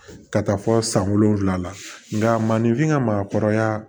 Ka taa fɔ san wolonwula la nga maninfin ka maakɔrɔya